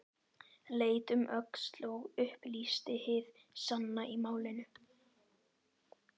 Leit um öxl og upplýsti hið sanna í málinu: